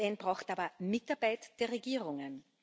Die UN braucht aber Mitarbeit der Regierungen.